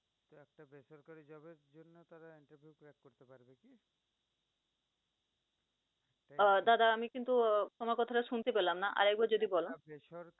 আহ দাদা আমি কিন্তু আহ তোমার কথা শুনতে পেলাম না, আরেকবার যদি বল।